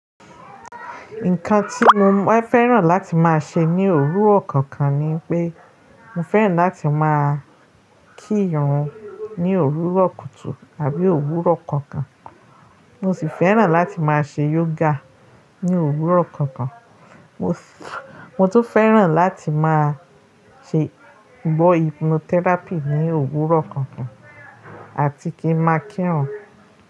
Nǹkan tí mo máa fẹ́ràn láti máa ṣe ní òwúrọ̀ kankan ni pé, mo fẹ́ràn láti máa kírun ní òwúrọ̀ kùtù àbí òwúrọ̀ kankan. Mo sì fẹ́ràn láti máa ṣe yoga ní òwúrọ̀ kankan. Mo sì, mo tún fẹ́ràn láti máa ṣe, gbọ́ hypnotherapy ní òwúrọ̀ kankan àti kí n máa kírun.